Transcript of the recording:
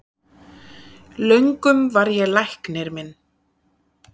Löngum var ég læknir minn,